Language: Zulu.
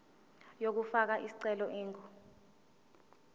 yokufaka isicelo ingu